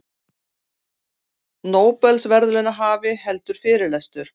Nóbelsverðlaunahafi heldur fyrirlestur